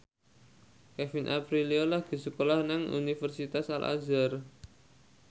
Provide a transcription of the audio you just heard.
Kevin Aprilio lagi sekolah nang Universitas Al Azhar